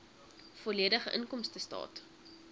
volledige inkomstestaat